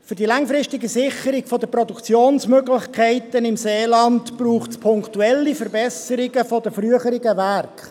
Für die langfristige Sicherung der Produktionsmöglichkeiten im Seeland braucht es punktuelle Verbesserungen der früheren Werke.